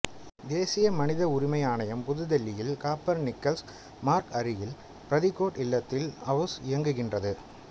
தேசிய மனித உரிமை ஆணையம் புதுதில்லியில் காப்பர் நிக்கஸ் மார்க் அருகில் பரித்கோட் இல்லத்தில் அவுஸ் இயங்குகின்றது